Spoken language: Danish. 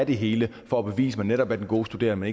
det hele for at bevise at man netop er den gode studerende